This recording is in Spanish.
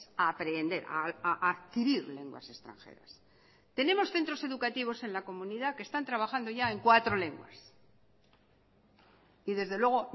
a aprender a adquirir lenguas extranjeras tenemos centros educativos en la comunidad que están trabajando ya en cuatro lenguas y desde luego